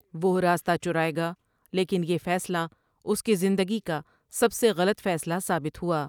وہ راستہ چرائے گا لیکن یہ فیصلہ اُسکی زندگی کا سب سے غلط فیصلہ ثابت ہوا ۔